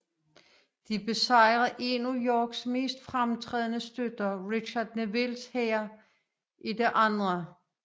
De besejrede en af Yorks mest fremtrædende støtter Richard Nevilles hær i det 2